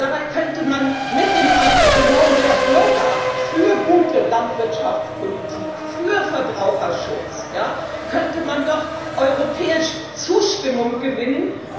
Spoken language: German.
Dabei könnte man mit dem Engagement der Bürger für gute Landwirtschaftspolitik und für Verbraucherschutz doch europäisch Zustimmung gewinnen.